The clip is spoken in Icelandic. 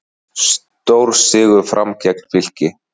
Stórsigur Fram gegn Fylki